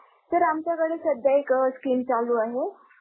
Sir आमच्याकडे सध्या एक scheme चालू आहे.